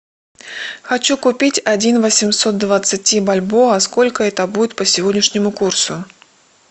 хочу купить один восемьсот двадцати бальбоа сколько это будет по сегодняшнему курсу